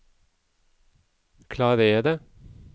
klarere